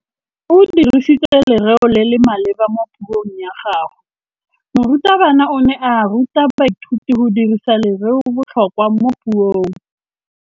O dirisitse lerêo le le maleba mo puông ya gagwe. Morutabana o ne a ruta baithuti go dirisa lêrêôbotlhôkwa mo puong.